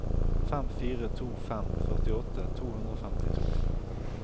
fem fire to fem førtiåtte to hundre og femtito